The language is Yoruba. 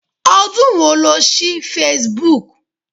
Ọdún wo lo ṣí Facebook?